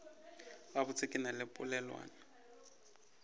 gabotse ke na le polelwana